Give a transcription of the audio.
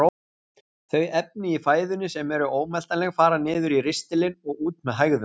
Þau efni í fæðunni sem eru ómeltanleg fara niður í ristilinn og út með hægðum.